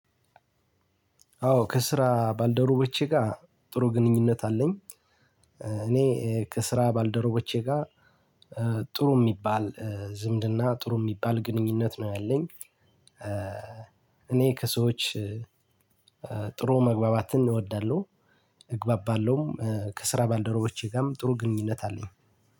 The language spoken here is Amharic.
አዎ ከስራ ባልደረቦቼ ጋ ጥሩ ግንኙነት አለኝ። እኔ ከስራ ባልደረቦቼ ጋ ጥሩ ሚባል ዝምድና ጥሩ ሚባል ግንኙነት ነው ያለኝ። እኔ ከሰዎች ጥሩ መግባባትን እወዳለሁ። እግባባለሁ ከስራ ባልደረቦቼ ጋም ጥሩ ግንኙነት አለኝ።